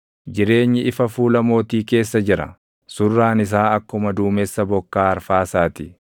Jireenyi ifa fuula mootii keessa jira; surraan isaa akkuma duumessa bokkaa arfaasaa ti.